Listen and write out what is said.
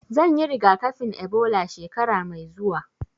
Zan yi rigakafin Ebola shekara mai zuwa